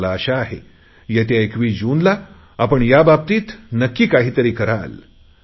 मला आशा आहे येत्या 21 जूनला आपण याबाबतीत नक्की काहीतरी कराल